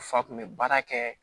Fa kun bɛ baara kɛ